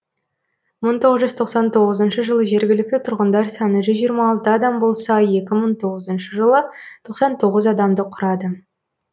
мың тоғыз жүз отоқсан тоғызыншы жылы жергілікті тұрғындар саны жүз жиырма алты адам болса екі мың тоғызыншы жылы тоқсан тоғыз адамды құрады